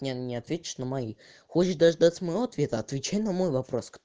не не ответишь на мои хочешь дождаться моего ответа отвечай на мой вопрос